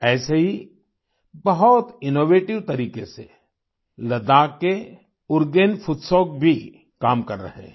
ऐसे ही बहुत इनोवेटिव तरीके से लद्दाख के उरगेन फुत्सौग भी काम कर रहे हैं